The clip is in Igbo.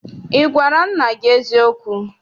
Ị gwara nna gị eziokwu?